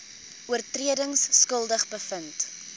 oortredings skuldig bevind